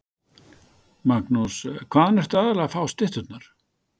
Magnús: Hvaðan ertu aðallega að fá stytturnar?